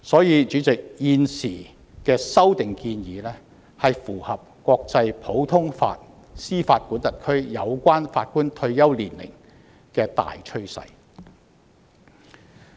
因此，主席，現時的修訂建議符合國際普通法司法管轄區關乎法官退休年齡的大趨勢。